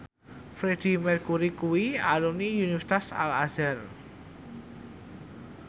Freedie Mercury kuwi alumni Universitas Al Azhar